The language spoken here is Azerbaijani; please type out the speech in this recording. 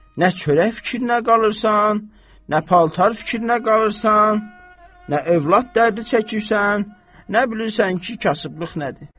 Nə çörək fikrinə qalırsan, nə paltar fikrinə qalırsan, nə övlad dərdi çəkirsən, nə bilirsən ki, kasıblıq nədir?